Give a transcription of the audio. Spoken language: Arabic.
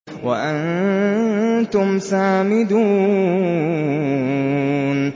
وَأَنتُمْ سَامِدُونَ